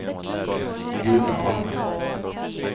Gunnarn